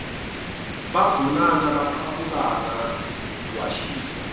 bagonana baqabulana lwashisa